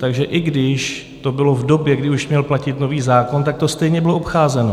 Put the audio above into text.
Takže i když to bylo v době, kdy už měl platit nový zákon, tak to stejně bylo obcházeno.